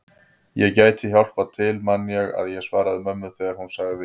Ég gæti hjálpað til man ég að ég svaraði mömmu þegar hún sagði